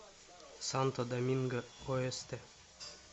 санто доминго оэсте